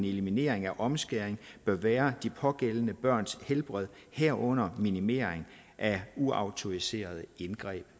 eliminering af omskæring bør være de pågældende børns helbred herunder minimering af uautoriserede indgreb